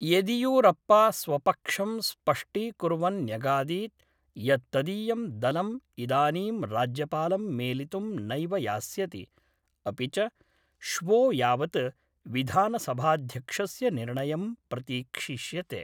येदियुरप्पा स्वपक्षं स्पष्टीकुर्वन् न्यगादीत् यत्तदीयं दलम् इदानीं राज्यपालं मेलितुं नैव यास्यति, अपि च श्वो यावद् विधानसभाध्यक्षस्य निर्णयं प्रतीक्षिष्यते।